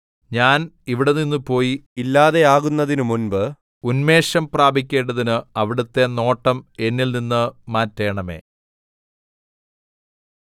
ഞാൻ ഇവിടെനിന്ന് പോയി ഇല്ലാതെയാകുന്നതിന് മുമ്പ് ഉന്മേഷം പ്രാപിക്കേണ്ടതിന് അവിടുത്തെ നോട്ടം എന്നിൽനിന്ന് മാറ്റണമേ